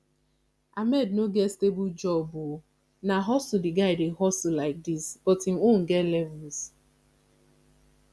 ahmed no get stable job oo na hustle the guy dey hustle like dis but im own get levels